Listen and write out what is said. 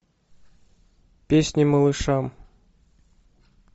песни малышам